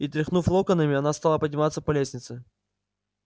и тряхнув локонами она стала подниматься по лестнице